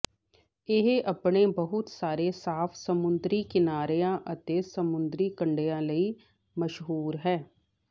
ਇਹ ਆਪਣੇ ਬਹੁਤ ਸਾਰੇ ਸਾਫ਼ ਸਮੁੰਦਰੀ ਕਿਨਾਰਿਆਂ ਅਤੇ ਸਮੁੰਦਰੀ ਕੰਢਿਆਂ ਲਈ ਮਸ਼ਹੂਰ ਹੈ